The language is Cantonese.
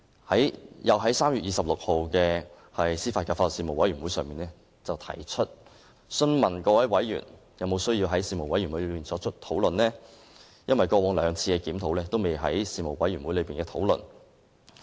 我又在3月26日的司法及法律事務委員會會議上，詢問各位委員是否有需要在事務委員會上進行討論，因為過往兩次檢討，均不曾在事務委員會進行討論。